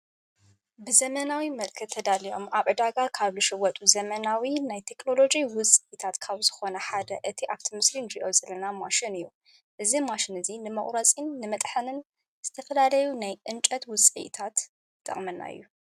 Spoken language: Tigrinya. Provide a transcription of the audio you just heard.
ብዘመናዊ መልከ ተዳልኦም ኣብ ዕዳጋ ካብ ልሽወጡ ዘመናዊ ናይ ቴክሎሎጅ ውፅኢታት ካብ ዝኾነ ሓደ እቲ ኣብቶምስልን ዲኦ ዝለና ማሽን እዩ እዝ ማሽን እዙይ ንመቝረጺን ንመጥሐንን ዝተፈላለዩ ናይ እንጨት ውፅአ ኢታት ዝጠቕመና እዩ::